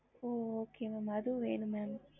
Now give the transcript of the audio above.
ஹம்